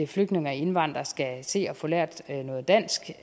flygtninge og indvandrere skal se at få lært noget dansk